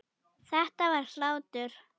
Þetta var hlátur.